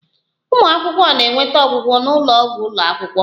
Ụmụ akwụkwọ na-enweta ọgwụgwọ n'ụlọ ọgwụ ụlọ akwụkwọ